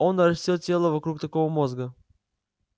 он нарастил тело вокруг такого мозга